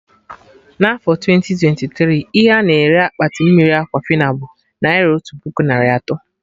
Na afọ twenti twenti tiri, ihe a-na ere Akpati mmiri Aquafina bụ naira otu puku narị atọ